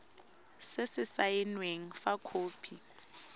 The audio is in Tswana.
se se saenweng fa khopi